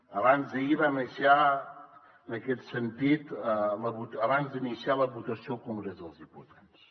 abans d’ahir ho va anunciar en aquest sentit abans d’iniciar la votació al congrés dels diputats